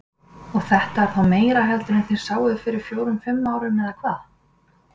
Og þetta er þá meira heldur en þið sáuð fyrir fjórum fimm árum eða hvað?